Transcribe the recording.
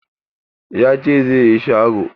Ya ce zai yi sharo.